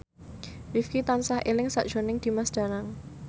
Rifqi tansah eling sakjroning Dimas Danang